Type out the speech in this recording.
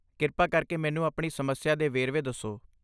ਕਿਰਪਾ ਕਰਕੇ ਮੈਨੂੰ ਆਪਣੀ ਸਮੱਸਿਆ ਦੇ ਵੇਰਵੇ ਦੱਸੋ।